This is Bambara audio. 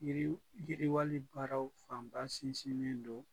Yiri yiriwali baaraw fanba sinsinnen don